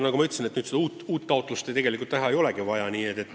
Nagu ma ütlesin, uut taotlust tegelikult teha ei olegi vaja.